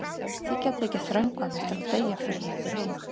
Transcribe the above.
Þið getið ekki þröngvað mér til að deyja fyrir ykkur hina.